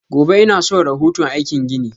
Gobe inason rahoto aikin ginin.